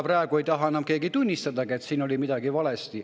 Praegu ei taha keegi tunnistadagi, et oli midagi valesti.